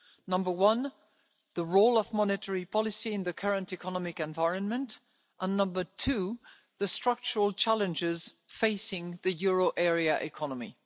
Number one, the role of monetary policy in the current economic environment and, number two, the structural challenges facing the euro area economy.